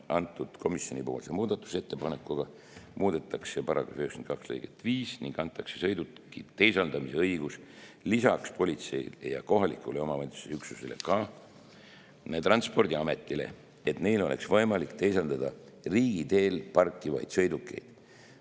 Komisjoni muudatusettepanekuga muudetakse § 92 lõiget 5 ning antakse sõiduki teisaldamise õigus lisaks politseile ja kohaliku omavalitsuse üksusele ka Transpordiametile, et neil oleks võimalik teisaldada riigiteel parkivaid sõidukeid.